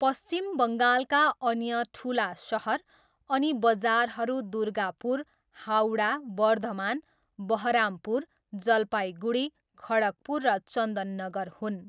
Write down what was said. पश्चिम बङ्गालका अन्य ठुला सहर अनि बजारहरू दुर्गापुर, हावडा, बर्धमान, बहरामपुर, जलपाइगुडी, खडगपुर र चन्दननगर हुन्।